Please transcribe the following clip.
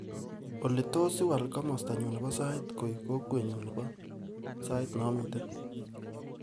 Oli tos iwaal komastanyu nebo sait koek kokwenyu nebo sait namite